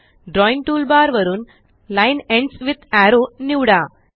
drawing toolbar वरून line ends with arrow निवडा